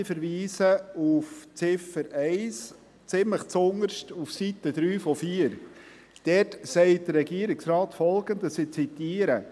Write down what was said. Ich verweise auf Ziffer 1, ziemlich zuunterst auf Seite 3 von 4. Dort sagt der Regierungsrat Folgendes, ich zitiere: